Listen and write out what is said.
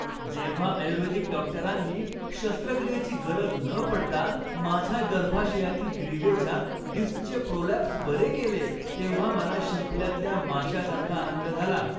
जेव्हा आयुर्वेदिक डॉक्टरांनी शस्त्रक्रियेची गरज न पडता माझ्या गर्भाशयातील ग्रीवेच्या डिस्कचे प्रोलॅप्स बरे केले तेव्हा मला शिंपल्यातल्या माश्यासारखा आनंद झाला.